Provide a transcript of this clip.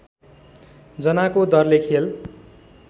जनाको दरले खेल